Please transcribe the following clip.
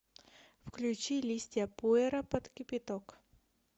включи листья пуэра под кипяток